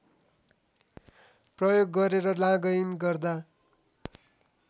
प्रयोग गरेर लॉगइन गर्दा